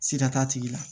Sida t'a tigi la